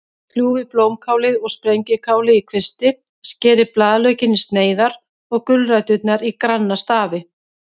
Kljúfið blómkálið og spergilkálið í kvisti, skerið blaðlaukinn í sneiðar og gulræturnar í granna stafi.